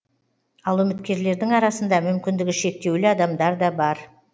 ал үміткерлердің арасында мүмкіндігі шектеулі адамдар да бар